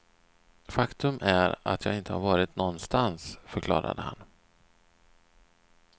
Faktum är att jag inte varit nånstans, förklarade han.